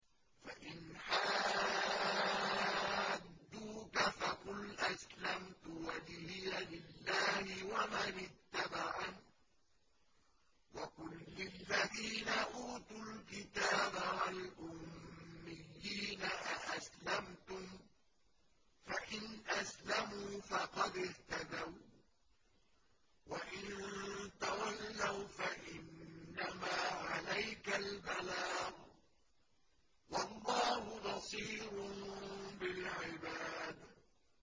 فَإِنْ حَاجُّوكَ فَقُلْ أَسْلَمْتُ وَجْهِيَ لِلَّهِ وَمَنِ اتَّبَعَنِ ۗ وَقُل لِّلَّذِينَ أُوتُوا الْكِتَابَ وَالْأُمِّيِّينَ أَأَسْلَمْتُمْ ۚ فَإِنْ أَسْلَمُوا فَقَدِ اهْتَدَوا ۖ وَّإِن تَوَلَّوْا فَإِنَّمَا عَلَيْكَ الْبَلَاغُ ۗ وَاللَّهُ بَصِيرٌ بِالْعِبَادِ